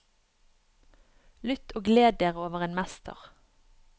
Lytt og gled dere over en mester.